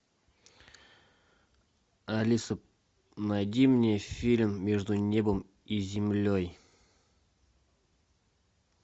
алиса найди мне фильм между небом и землей